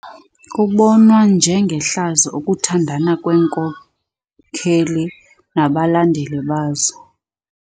Kubonwa njengehlazo ukuthandana kweenkokeli nabalandeli bazo.